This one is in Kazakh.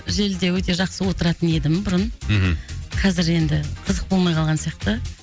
желіде өте жақсы отыратын едім бұрын мхм қазір енді қызық болмай қалған сияқты